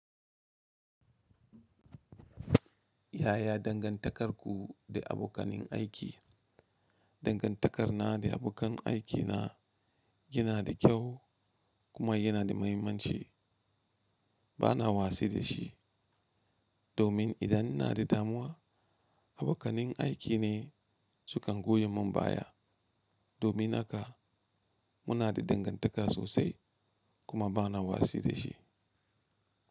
Yaya dangantakarku da abokanen aiki? Dangantakar na da abokan aiki na yana da kyau kuma yana da muhimmanci. Bana wasi da shi, domin idan ina da damuwa, abokanin aiki ne sukan goya mun baya. Domin haka muna da dangantaka sosai kuma bana wasi da shi.